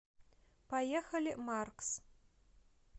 поехали маркс